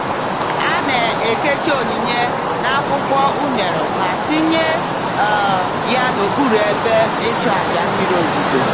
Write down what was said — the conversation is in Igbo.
A na-ekechi onyinye n'akwụkwọ unere ma tinye um ya n'okpuru ebe ịchụàjà mmiri ozuzo.